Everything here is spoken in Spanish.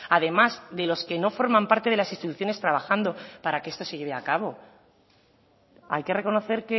además de los que no forman parte de las instituciones trabajando para que esto se lleve a cabo hay que reconocer